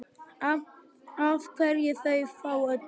Af hverju þú af öllum?